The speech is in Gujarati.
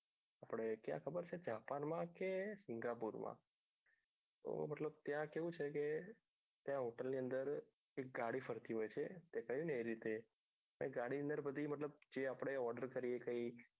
આપણે ક્યાં ખબર છે જાપાન માં કે પીરાપુર માં તો મતલબ ત્યાં કેવું છે કે ત્યાં hotel ની અંદર એક ગાડી ફરતી હોય છે એ કહ્યું એ રીતે એ ગાડી ની અંદર મતલબ જે આપણે order કરીએ કઈ